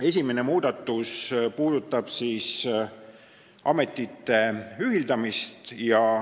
Esimene muudatus puudutab ametite ühitamist.